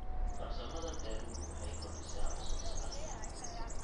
Farsamada beeruhu waxay kordhisaa wax soo saarka wax soo saarka.